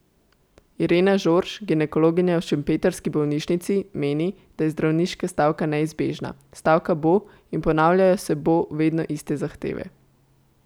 Irena Žorž, ginekologinja v šempetrski bolnišnici, meni, da je zdravniška stavka neizbežna: "Stavka bo, in ponavljajo se bo vedno iste zahteve.